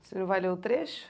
Você não vai ler o trecho?